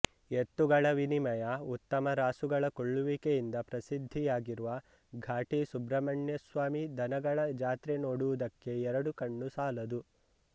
ಎತ್ತುಗಳ ವಿನಿಮಯ ಉತ್ತಮ ರಾಸುಗಳ ಕೊಳ್ಳುವಿಕೆಯಿಂದ ಪ್ರಸಿದ್ಧಿಯಾಗಿರುವ ಘಾಟಿ ಸುಬ್ರಹ್ಮಣ್ಯಸ್ವಾಮಿ ದನಗಳ ಜಾತ್ರೆ ನೋಡುವುದಕ್ಕೆ ಎರಡು ಕಣ್ಣು ಸಾಲದು